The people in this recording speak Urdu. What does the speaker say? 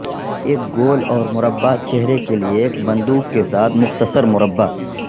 ایک گول اور مربع چہرے کے لئے ایک بندوق کے ساتھ مختصر مربع